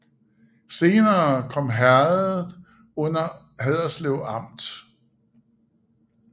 Senere kom herredet under Haderslev Amt